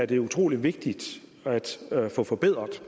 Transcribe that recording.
det er utrolig vigtigt at få forbedret